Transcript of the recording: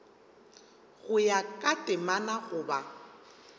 go ya ka temana goba